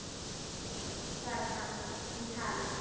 Nei svaraði hann, hún talar